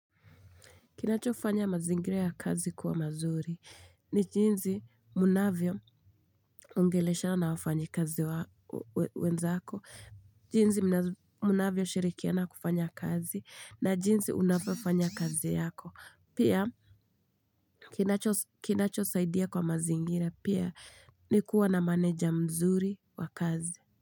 Kinachofanya mazingira ya kazi kuwa mazuri ni jinsi munavyoongeleshana na wafanyikazi wenzako. Jinsi munavyo shirikiana kufanya kazi na jinsi unavyofanya kazi yako. Pia kinachosaidia kwa mazingira pia ni kuwa na maneja mzuri wa kazi.